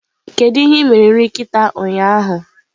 Kedu ihe ị mere nri nkịta ụnyaahụ?